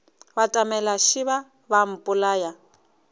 batamela šeba ba a mpolaya